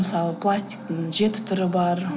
мысалы пластиктің жеті түрі бар